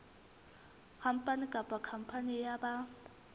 khampani kapa khampani ya ba